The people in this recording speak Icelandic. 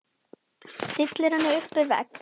Stillir henni upp við vegg.